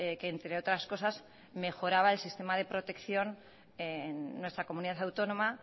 que entre otras cosas mejoraba el sistema de protección en nuestra comunidad autónoma